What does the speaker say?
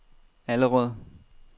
Allerød